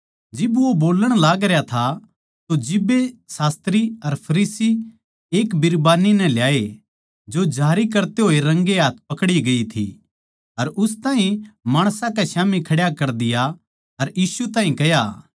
जिब वो बोलण लागरया था तो जिब्बे शास्त्री अर फरीसी एक बिरबान्नी नै ल्याए जो जारी करते होए रंगे हाथ पकड़ी गयी थी अर उस ताहीं माणसां के स्याम्ही खड्या कर दिया अर यीशु ताहीं कह्या